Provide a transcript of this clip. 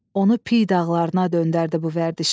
Onu piy dağlarına döndərdi bu vərdişi.